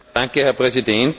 Herr Präsident!